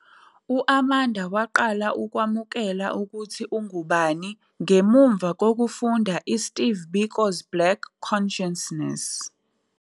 U-Amanda waqala ukwamukela ukuthi ungubani ngemuva kokufunda iSteve Biko's Black Consciousness.